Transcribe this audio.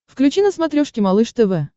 включи на смотрешке малыш тв